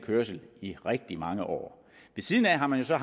kørsel i rigtig mange år ved siden af har man så